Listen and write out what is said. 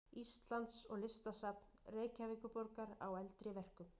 Íslands og Listasafns Reykjavíkurborgar á eldri verkum.